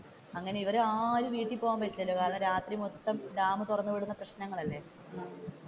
അങ്ങനെ ഇവർ ആരും വീട്ടിൽ പോകാൻ പറ്റുന്നില്ല കാരണം രാത്രി മൊത്തം ഡാം തുറന്നുവിടുന്ന പ്രശ്നങ്ങൾ അല്ലെ,